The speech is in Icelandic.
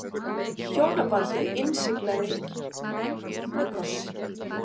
Hjónabandið innsiglað með kossi